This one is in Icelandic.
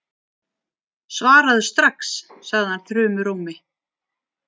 Svaraðu strax, sagði hann þrumurómi.